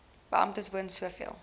beamptes woon soveel